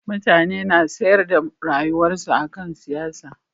Mutane na sanyar da rayuwarsu akan siyasa